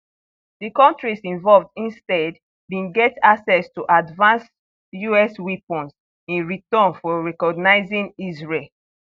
di kontris involved instead bin get access to advanced us weapons in return for recognising israel